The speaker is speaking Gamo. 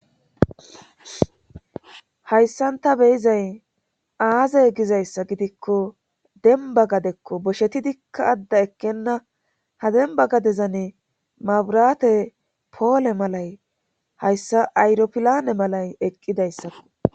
Hayssan ta beyizay aazey gizayssa gidikko denba gadekko bosheti dikka adda ekkenna ha demba gadezane maburate poole malay hayssa ayropilane malay eqqidayssako.